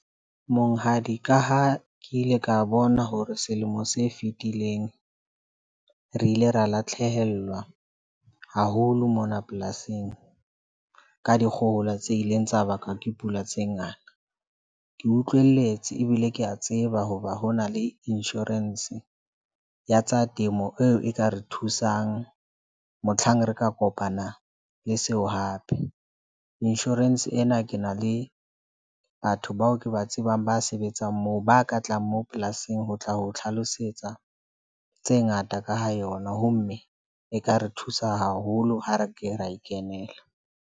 Monghadi, ka ha ke ile ka bona hore selemo se fitileng, re ile ra latlhehellwa haholo mona polasing, ka dikgohola tse ileng tsa bakwa ke pula tse ngata. Ke utlwelletse ebile ke a tseba. Hoba ho na le lnsurance ya tsa temo eo e ka re thusang. Motlhang re ka kopana le seo hape. lnsurance ena ke na le batho bao ke ba tsebang ba sebetsang moo ba ka tlang mo polasing ho tla ho tlhalosetsa tse ngata ka ho yona ho mme e ka re thusa haholo ho re ke ra e kenela.